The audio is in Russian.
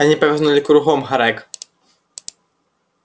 они повернули кругом грег